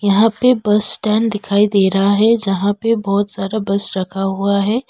यहां पे bus stand दिखाई दे रहा है जहां पे बहुत सारा बस रखा हुआ है।